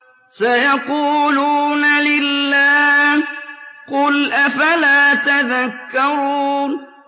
سَيَقُولُونَ لِلَّهِ ۚ قُلْ أَفَلَا تَذَكَّرُونَ